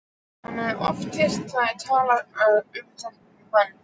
Hann hafði oft heyrt þær tala um þennan mann.